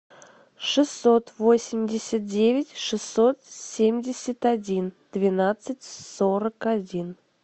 шестьсот восемьдесят девять шестьсот семьдесят один двенадцать сорок один